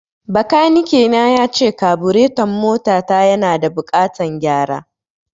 Bakanike na yace kabureton mota ta yana da buƙatan gyara